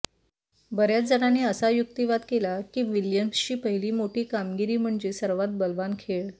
बर्याच जणांनी असा युक्तिवाद केला की विल्यम्सची पहिली मोठी कामगिरी म्हणजे सर्वात बलवान खेळ